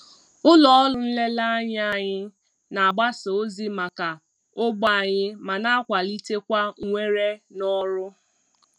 Ụlọ ọrụ nlereanya anyị na-agbasa ozi maka ogbe anyị ma na-akwalitekwa mwere n'ọrụ